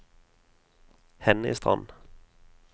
Henny Strand